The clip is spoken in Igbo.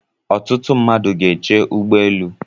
Ọtụtụ mmadụ gá eche ụgbọelu.